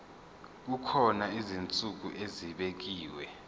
kukhona izinsuku ezibekiwe